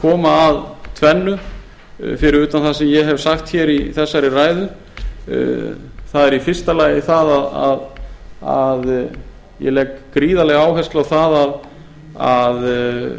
koma að tvennu fyrir utan það sem ég hef sagt í þessari ræðu það er í fyrsta lagi að ég legg gríðarlega áherslu á það að